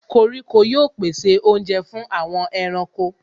Koríko yóò pèsè oúnjẹ fún àwọn ẹranko.